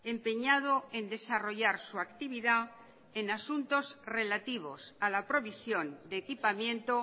empeñado en desarrollar su actividad en asuntos relativos a la provisión de equipamiento